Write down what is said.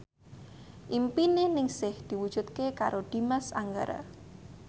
impine Ningsih diwujudke karo Dimas Anggara